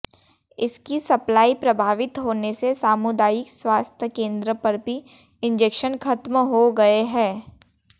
इसकी सप्लाई प्रभावित होने से सामुदायिक स्वास्थ्य केंद्र पर भी इंजेक्शन खत्म हो गए हैं